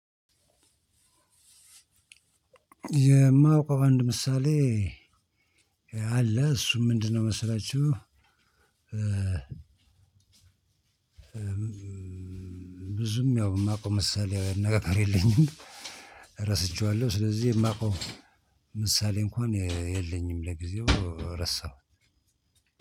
የማውቀው አንድ ምሳሌ አለ እሱም ምንድነው መሰላችሁ? እ ብዙም ያው የማውቀው ምሳሌያዊ ነገር የለኝም እረስቼዋለሁ። ስለዚህ የማውቀው ምሳሌ እንኳን እ የለኝም ለጊዜው እረሳሁት።